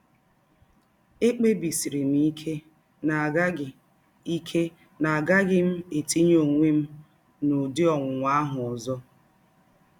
Ekpebisiri m ike na agaghị ike na agaghị m etinye ọnwe m n’ụdị ọnwụnwa ahụ ọzọ.